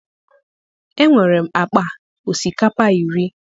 enwerem akpa osikapa iri